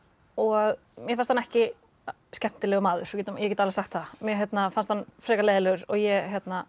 og mér fannst hann ekki skemmtilegur maður ég get alveg sagt það mér fannst hann frekar leiðinlegur og ég